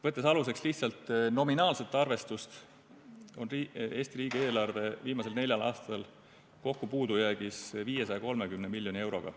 Võttes aluseks lihtsalt nominaalse arvestuse, on Eesti riigi eelarve viimasel neljal aastal kokku puudujäägis 530 miljoni euroga.